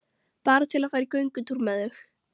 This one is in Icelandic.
Bara til að fara í göngutúr með þau.